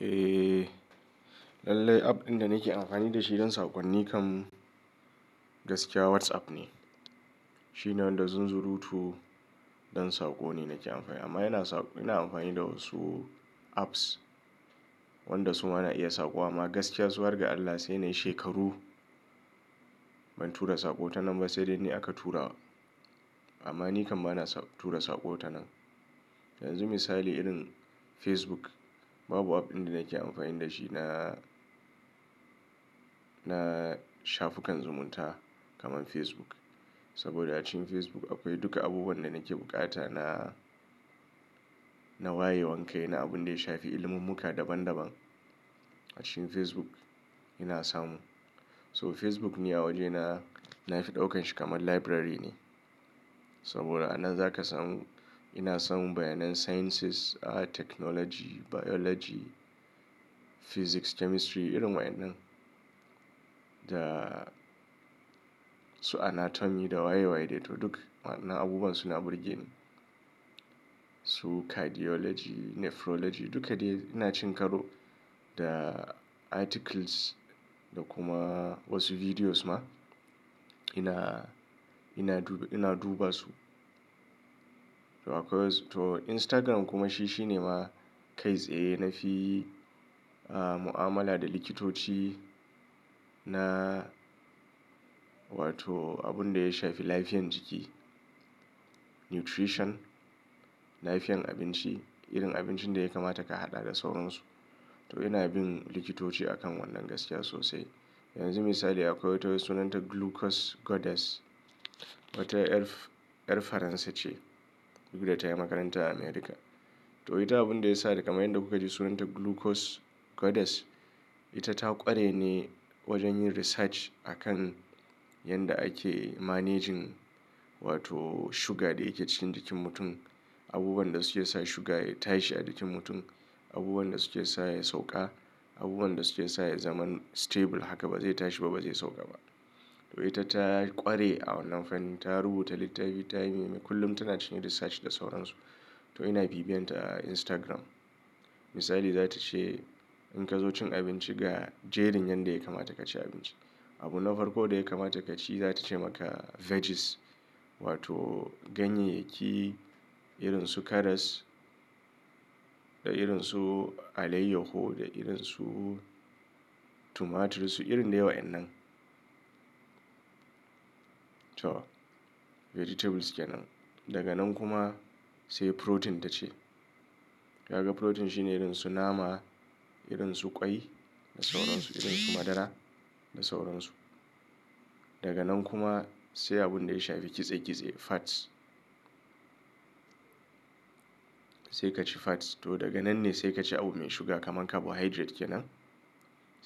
Eh, lallai app ɗin da nake amfani da shi don saƙonni kam gaskiya WhatsApp ne. Shi ne wanda zunzurutu don saƙo ne nake amfani amma yana saƙo-- ina amfani da wasu apps wanda su ma ana iya saƙo amma gaskiya su har ga Allah sai nayi shekaru ban tura saƙo ta nan ba sai dai ni aka tura. Amma ni kam bana sa-- tura saƙo ta nan. Yanzu misali irin Facebook babu app ɗin da nake amfani da shi na, na shafukan zumunta kamar Facebook. Saboda a cikin Facebook akwai duka abubuwan da nake bukata na, na wayewan kai ana abun da ya shafi ilimummuka daban daban. A cikin Facebook ina samu. So Facebook ni a waje na, na fi ɗaukan shi kamar library ne. Saboda a nan zaka samu, ina samun bayanan sciences, technology, biology, physics, chemistry irin wa'inan. Da su anatomy da waye waye dai to duk wa'annan abubuwan suna burge ni. Su cardiology, nephrology duka dai ina cin karo da articles da kuma wasu videos ma ina, ina du-- ina duba su. To akwai wasu to Instagram kuma shi, shi ne ma kai tsaye nafi mu'amala da likitoci na wato abun da ya shafi lafiyan jiki. Nutrition, lafiyan abinci, irin abincin da ya kamata ka haɗa da sauransu. To ina bin likitoci akan wannan gaskiya sosai. Yanzu misali akwai wata sunanta Glucose Goddess. Wata yar F-- yar Faransa ce duk da ta yi makaranta a America. To ita abun da ya sa da kamar yadda kuka ji sunanta Glucose Goddess, ita ta ƙware ne wajen yin research akan yadda ake managing wato sugar da yake cikin jikin mutum. Abubuwan da suke sa sugar ya tashi a jikin mutum, abubuwan da suke sa ya sauƙa, abubuwan da suke sa ya zama stable haka ba zai tashi ba ba zai sauƙa ba. To ita ta ƙware a wannan fanni ta rubuta littafi ta yi me, kullum tana cinkin research da sauransu. To ina bibiyanta a Instagram. Misali za ta ce in ka zo cin abinci ga jerin yanda ya kamata ka ci abinci. Abun na farko da ya kamata ka ci za ta ce maka veggies wato ganye ki irin su karas da irin su alayyahu da irin su tomatoes su irin da yawan nan. To, vegetables kenan. Daga nan kuma sai protein ta ce. Kaga protein shine irin su nama, irin su ƙwai da sauransu, irin su madara da sauransu. Daga nan kuma sai abun da ya shafi ƙitse ƙitse, fats. Sai ka ci fats to daga nan ne sai ka ci abu mai shuga kamar carbohydrate kenan.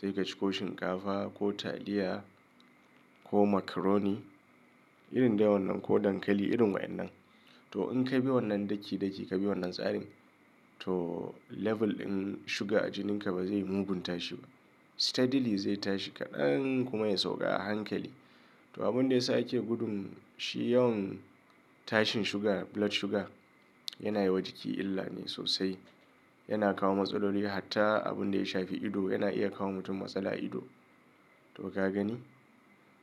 Sai ka ci ko shinkafa ko taliya ko macaroni irin dai wannan ko dankali irin wa'inan. To in ka bi wannan daki daki ka bi wannan tsarin to level din sugar a jikinka ba zai mugun tashi ba. Steadily zai tashi kaɗan kuma ya sauƙa a hankali. To abun da ya sa ake gudun shi yawan tashin sugar, blood sugar yana yi wa jiki illa ne sosai. Yana kawo matsalolo hatta abun da ya shafi ido yana iya kawo mutum matsala a ido. To ka gani?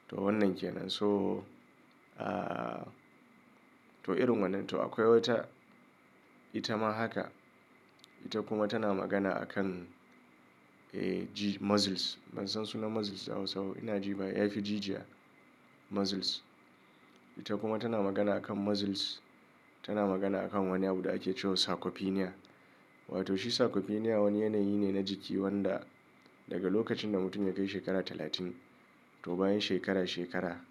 To wannan kenan so, to irin wannan. To akwai wata ita ma haka. Ita kuma tana magana akan g-- muscles. Ban san sunan muscles a Hausa ba ina ji ba. Ya fi jijiya, muscles. Ita kuma tana magana akan muscles. Tana magana akan wani abu da ake cewa sarcopenia. Wato shi sarcopenia wani yanayi ne na jiki wanda daga lokacin da mutum ya kai shekara talatin to bayan shekara shekara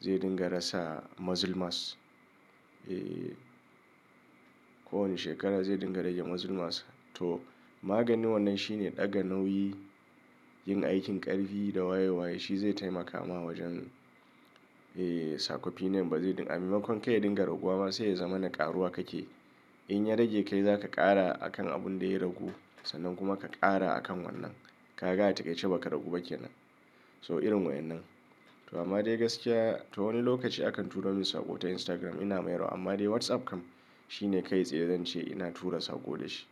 zai dinga rasa muscle mass. Eh, kowane shekara zai dinga rage muscle mass. To maganin wannan shi ne ɗaga nauyi, yin aikin ƙarfi da waye waye. Shi zai taimaka ma wajen sarcopenia ba zai dinga-- a maimakon kai ya dinga raguwa ma sai ya zama na ƙaruwa kake. In ya rage kai zaka ƙara a kan abun da ya ragu sannan kuma ka ƙara a kan wannan. Ka ga a takaice ba ka ragu ba kenan. So irin wa'inan. To amma dai gaskiya to wani lokaci akan tura min saƙo ta Instagram ina mayarwa amma dai WhatsApp kam shi ne kai tsaye zan ce ina tura saƙo da shi.